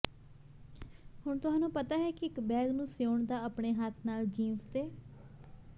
ਹੁਣ ਤੁਹਾਨੂੰ ਪਤਾ ਹੈ ਕਿ ਇੱਕ ਬੈਗ ਨੂੰ ਸਿਉਣ ਦਾ ਆਪਣੇ ਹੱਥ ਨਾਲ ਜੀਨਸ ਦੇ